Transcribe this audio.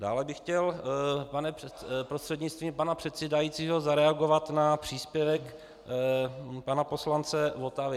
Dále bych chtěl prostřednictvím pana předsedajícího zareagovat na příspěvek pana poslance Votavy.